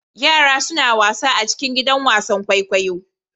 Yara suna wasa a cikin gidan wasan kwaikwayo.